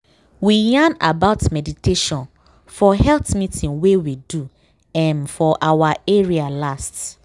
we yarn about meditation for health meeting wey we do um for our area last.